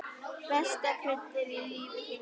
Besta kryddið í lífi þínu.